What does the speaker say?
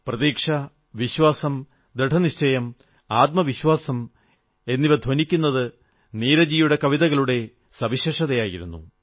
പ്രതീക്ഷ വിശ്വാസം ദൃഢനിശ്ചയം ആത്മവിശ്വാസം എന്നിവ ധ്വനിക്കുന്നത് നീരജ് ജിയുടെ കവിതകളുടെ വിശേഷതയായിരുന്നു